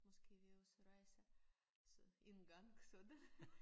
Måske vi også rejser så engang så det